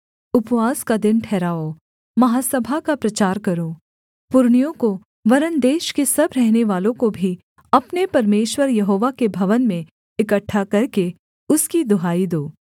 उपवास का दिन ठहराओ महासभा का प्रचार करो पुरनियों को वरन् देश के सब रहनेवालों को भी अपने परमेश्वर यहोवा के भवन में इकट्ठा करके उसकी दुहाई दो